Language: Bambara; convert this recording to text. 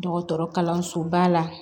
Dɔgɔtɔrɔ kalanso ba la